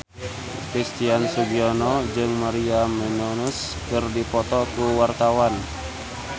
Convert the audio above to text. Christian Sugiono jeung Maria Menounos keur dipoto ku wartawan